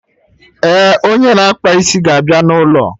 Eh, onye na-akpa isi ga abịa na ụlọ